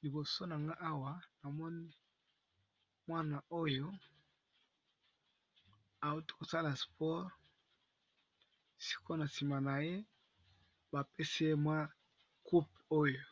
Liboso na nga awa na mwana oyo awuti kosala spore siko na nsima na ye bapesi ye mwa coupe oyo,